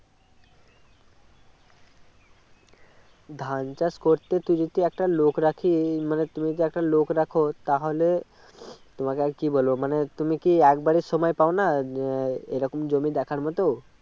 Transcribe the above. ধান চাষ করতে তো যদি একটা লোক রাখি মানে তুমি যদি একটা লোক রাখো তাহলে তোমাকে আর কী বলব মানে তুমি কি একবারের সময় পাও না এ রকম জমি দেখার মতো